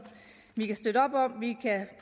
vi kan støtte op om vi